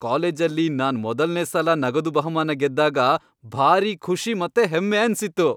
ಕಾಲೇಜಲ್ಲಿ ನಾನ್ ಮೊದಲ್ನೇ ಸಲ ನಗದು ಬಹುಮಾನ ಗೆದ್ದಾಗ ಭಾರೀ ಖುಷಿ ಮತ್ತೆ ಹೆಮ್ಮೆ ಅನ್ಸಿತ್ತು.